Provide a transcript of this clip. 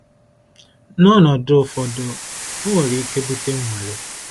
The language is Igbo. N’ọnọdụ ụfọdụ, ọ nwere ike bute nnwale